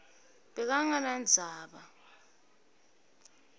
bekangenandzaba